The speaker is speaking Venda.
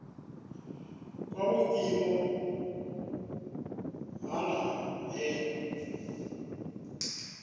kwa vhuimo ha nha he